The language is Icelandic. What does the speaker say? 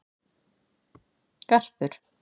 Garpur